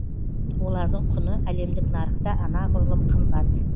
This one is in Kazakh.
олардың құны әлемдік нарықта анағұрлым қымбат